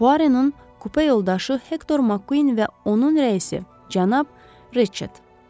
Puaronun kupe yoldaşı Hektor Makquinin və onun rəisi cənab Reçett.